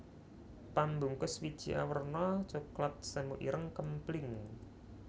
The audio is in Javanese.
Pambungkus wiji awerna coklat semu ireng kempling